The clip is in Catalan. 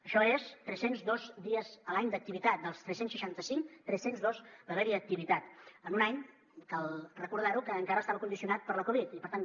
això són tres cents i dos dies a l’any d’activitat dels tres cents i seixanta cinc tres cents i dos va haver hi activitat en un any cal recordar ho que encara estava condicionat per la covid i per tant